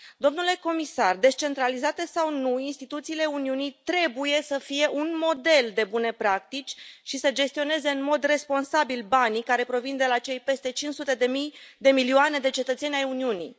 Domnule comisar, descentralizate sau nu, instituțiile Uniunii trebuie să fie un model de bune practici și să gestioneze în mod responsabil banii care provin de la cei peste 500 de milioane de cetățeni ai Uniunii.